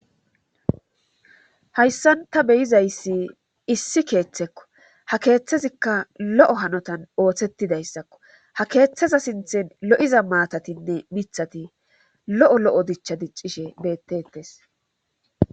hayssan ta beyizayssi issi keeththekko ha keeththezikka lo7o hanotan ooththetidayssakko ha keeththeza sinthen lo7iza maatatinne mithati lo7o lo7o dicha diccishe beettetes